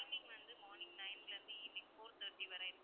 timing வந்து morning nine ல இருந்து evening four thirty வரை.